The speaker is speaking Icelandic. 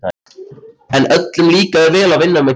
En öllum líkaði vel að vinna með Gerði.